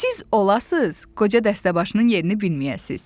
Siz olası qoca dəstəbaşının yerini bilməyəsiz.